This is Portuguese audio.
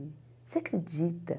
Você acredita?